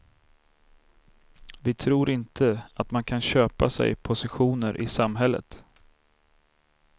Vi tror inte att man kan köpa sig positioner i samhället.